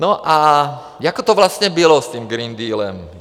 No a jak to vlastně bylo s tím Green Dealem?